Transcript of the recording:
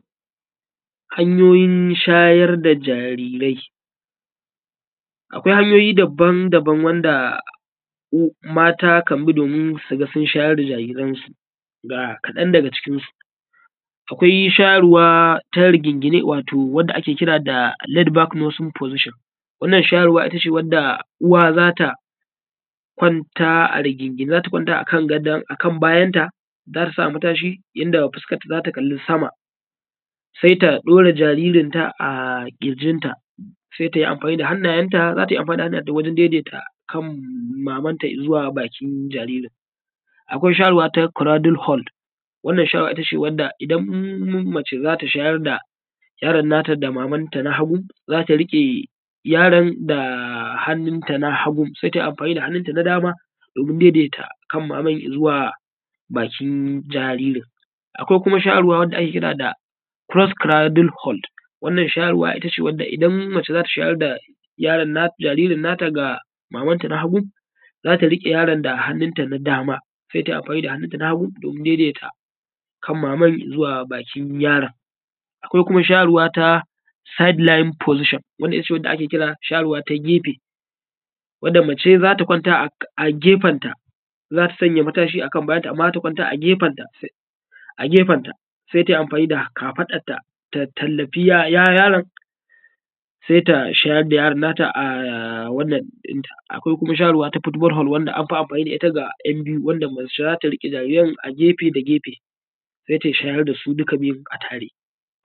Hanyoyin shayar da jarirai. Akwai hanyoyi dabam dabam wanda mata kan bi domin suga sun shayar da jariransu, ga kaɗan daga cikinsu: Akwai shayarwa ta rigingi ne wato wadda ake kira da laid back position, wannan shayarwa ita ce wadda uwa zata kwanta a rigingine, za ta kwanta a kan gado akan bayanta, za ta sa matashi yanda fuskanta za ta kalli sama, sai ta daura jaririnta a kirjinta, sai tayi amfani da hannayenta, za ta yi amfani da hannayenta wajen kan mamanta izuwa bakin jaririn. Akwai shayarwa ta cradle hold, wannan shayarwa ita ce idan mace za ta shayar da yaron nata da mamanta na hagu, zata rike yaron da hannunta na hagu sai ta yi amfani da hannunta na dama domin daidaita kan maman izuwa bakin jaririn. Akwai kuma shayarwa da ake kira da cross cradle hold, wannan shayarwa ita ce wadda idan mace za ta shayar da yaron nata, jaririnta na ta ga mamanta na hagu, za ta rike yaron da hannunta na dama sai ta yi amfani da hannunta na hagu domin daidaita kan maman izuwa bakin yaron. Akwai kuma shayarwa na side lying position, wadda ita ce ake kira shayarwa ta gefe, wadda mace za ta kwanta a gefenta, za ta sanya matashi akan bayanta, amma za ta kwanta a gefenta sai ta yi amfani da kafaɗanta, ta tallafi yaron sai ta shayar da yaron nata a wannan ɗinta. Akwai kuma shayarwa na kuma na football hold, wanda anfi amfani da ita ga ‘yan biyu, wadda mace za ta rike jariran a gefe da gefe sai ta shayar da su duka biyun a tare.